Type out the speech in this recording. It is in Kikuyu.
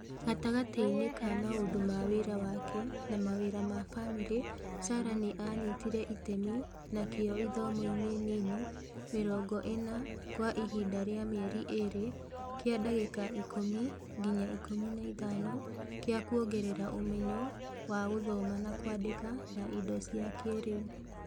Gatagatĩ-inĩ ka maũndũ ma wĩra wake na mawĩra ma famĩrĩ Sarah nĩ aanyitire itemi na kĩyo ithomo-inĩ nini mĩrongo ĩna kwa ihinda rĩa mĩeri ĩĩrĩ, kĩa ndagĩka 10 nginya 15 kĩa kwongerera umenyo wa gũthoma na kwandĩka na indo cia kĩĩrĩu